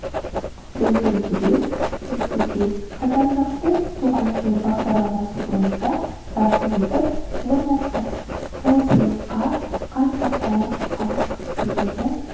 біздің түлек мектепкеқазандықты туған жер бағдарламасы бойынша тарту етіп орнатты бұл сыйлыққа қатты қуанып қалдық себебі